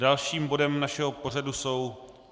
Dalším bodem našeho pořadu jsou